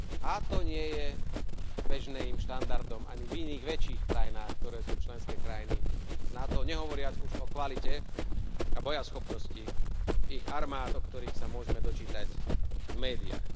A to nie je bežným štandardom ani v iných väčších krajinách, ktoré sú členské krajiny NATO, nehovoriac už o kvalite a bojaschopnosti ich armád, o ktorých sa môžeme dočítať v médiách.